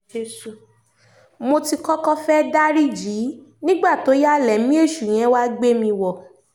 mo ti kọ́kọ́ fẹ́ẹ́ dariji í nígbà tó yá lẹ̀mí èṣù yẹn wàá gbé mi wọ̀